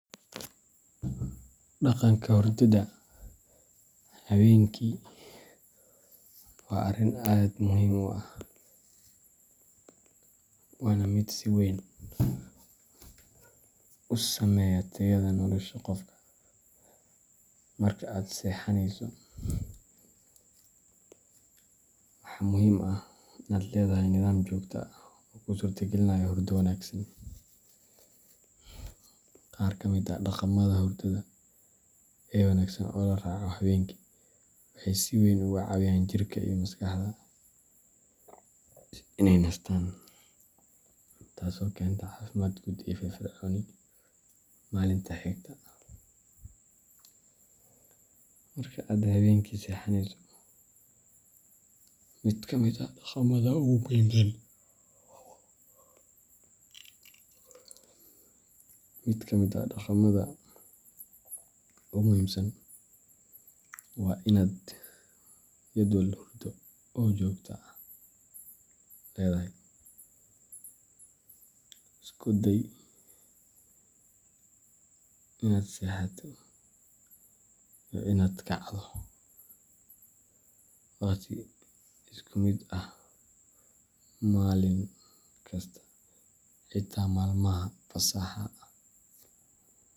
Dhaqanka hurdada habeenkii waa arrin aad muhiim u ah, waana mid si weyn u saameeya tayada nolosha qofka. Marka aad seexanayso, waxaa muhiim ah inaad leedahay nidaam joogto ah oo kuu suurtagelinaya hurdo wanaagsan. Qaar ka mid ah dhaqamada hurdada ee wanaagsan oo la raaco habeenkii waxay si weyn uga caawiyaan jirka iyo maskaxda inay nastaan, taasoo keenta caafimaad guud iyo firfircooni maalinta xigta. Marka aad habeenkii seexanayso, mid ka mid ah dhaqamada ugu muhiimsan waa inaad jadwal hurdo oo joogto ah leedahay.